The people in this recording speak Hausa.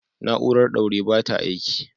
Na'urar ɗaure ba ta aiki